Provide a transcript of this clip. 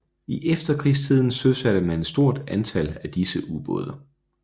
I efterkrigstiden søsatte man et stort antal af disse ubåde